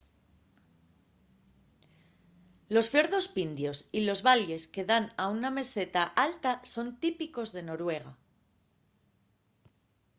los fiordos pindios y los valles que dan a una meseta alta son típicos de noruega